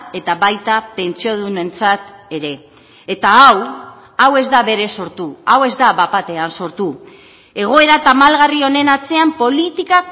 eta baita pentsiodunentzat ere eta hau hau ez da berez sortu hau ez da bat batean sortu egoera tamalgarri honen atzean politika